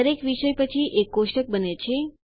દરેક વિષય પછી એક કોષ્ટક બને છે